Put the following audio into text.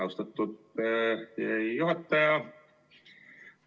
Austatud juhataja!